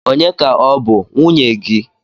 Ònye ka ọ bụ nwunye gị?